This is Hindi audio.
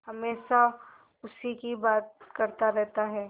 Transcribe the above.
हमेशा उसी की बात करता रहता है